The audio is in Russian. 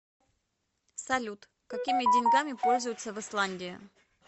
салют какими деньгами пользуются в исландии